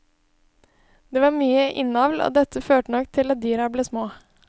Det var mye innavl, og dette førte nok til at dyra ble små.